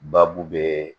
Baabu be